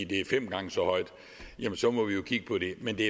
det er fem gange så højt så må vi jo kigge på det men det